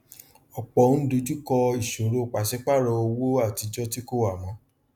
ọpọ ń dojúkọ ìṣòro pàsípààrọ owó atijọ tí kò wà mọ